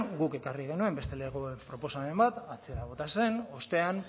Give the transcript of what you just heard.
guk ekarri genuen beste lege proposamen bat atzera bota zen ostean